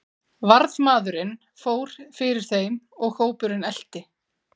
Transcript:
Varðmaðurinn fór fyrir þeim og hópurinn elti.